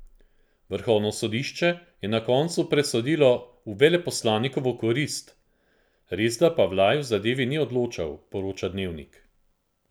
Vrhovno sodišče je na koncu presodilo v veleposlanikovo korist, resda pa Vlaj v zadevi ni odločal, poroča Dnevnik.